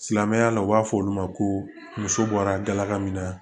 Silamɛmɛya la u b'a fɔ olu ma ko muso bɔra galaka min na